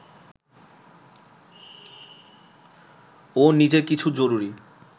ও নিজের কিছু জরুরি